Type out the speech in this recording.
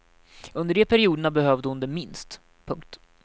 Under de perioderna behövde hon det minst. punkt